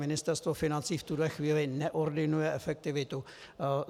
Ministerstvo financí v tuhle chvíli neordinuje efektivitu.